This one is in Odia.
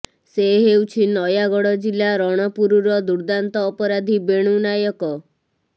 ସେ ହେଉଛି ନୟାଗଡ଼ ଜିଲ୍ଲା ରଣପୁରର ଦୁର୍ଦ୍ଧାନ୍ତ ଅପରାଧୀ ବେଣୁ ନାୟକ